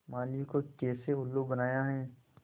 माली को कैसे उल्लू बनाया है